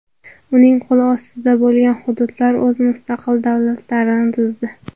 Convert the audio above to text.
Uning qo‘l ostida bo‘lgan hududlar o‘z mustaqil davlatlarini tuzdi.